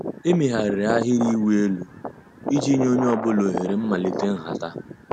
Èméghàrị́rị́ àhị́rị́ ị̀wụ́ èlú ìjì nyé ónyé ọ̀ bụ́là òhèré m̀màlíté ǹhàtá.